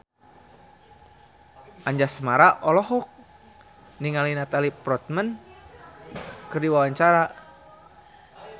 Anjasmara olohok ningali Natalie Portman keur diwawancara